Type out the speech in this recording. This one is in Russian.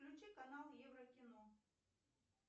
включи канал еврокино